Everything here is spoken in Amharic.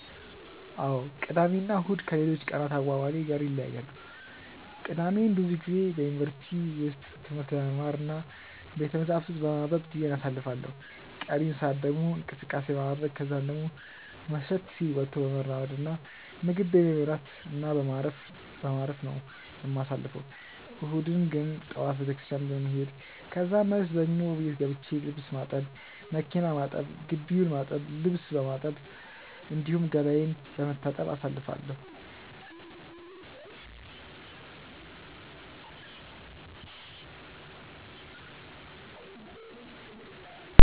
አዎ ቅዳሜ እና እሁድ ከሌሎች ቀናት አዋዋሌ ጋር ይለያያሉ። ቅዳሜን ብዙ ጊዜ በዩኒቨርሲቲ ውስጥ ትምህርት በመማር እና ቤተመጻሕፍት ውስጥ በማንበብ ጊዜዬን አሳልፋለሁ ቀሪውን ሰአት ደግሞ እንቅስቀሴ በማድረረግ ከዛን ደሞ መሸት ሲል ወጥቶ በመራመድ እና ምግብ ቤት በመብላት እና በማረፍ በማረፍ ነው የማሳልፈው። እሁድን ግን ጠዋት ቤተክርስትያን በመሄድ ከዛን መልስ ደሞ ቤት ገብቼ ልብስ ማጠብ፣ መኪና ማጠብ፣ ግቢውን በማጠብ፣ ልብስ በማጠብ፣ እንዲሁም ገላዬን በመታጠብ አሳልፋለሁ።